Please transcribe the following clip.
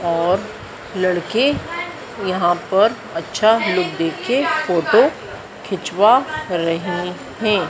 और लड़के यहां पर अच्छा लुक देके फोटो खिंचवा रहे है।